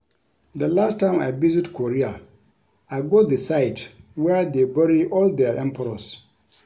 The last time I visit Korea I go the site where dey bury all their Emperors